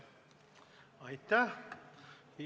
Aitäh!